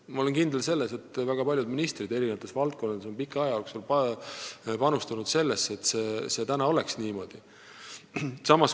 Ma olen kindel, et väga paljud eri valdkondade ministrid on pika aja jooksul panustanud ka mahepõllumajandusse, et seal oleks asjad niimoodi, nagu praegu on.